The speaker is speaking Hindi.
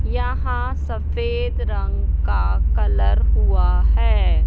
यहां सफेद रंग का कलर हुआ है।